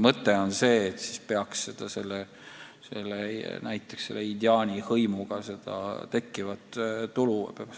Mõte on see, et siis peaks selle indiaani hõimuga